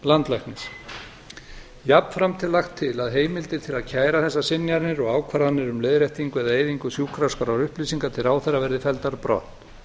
landlæknis jafnframt er lagt til að heimildir til að kæra þessar synjanir og ákvarðanir um leiðréttingu eða eyðingu sjúkraskrárupplýsinga til ráðherra verði felldar brott